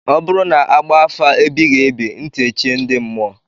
Ọ bụrụ na a gbafa afa ebighị ebi ntị echie ndị mmụọ.